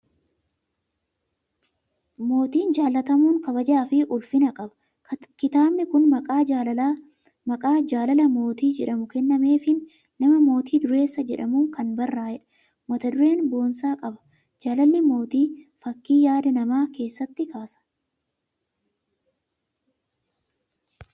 Mootiin jaalatamuun kabajaa fi ulfina qaba. Kitaabni kun maqaa " Jaalala Mootii" jedhamu kennameefiin nama Mootii Duuressaa jedhamuun kan barraa'eedha. Mata duree boonsaa qaba! Jaalalli mootii fakkii yaadaa nama keessatti kaasa.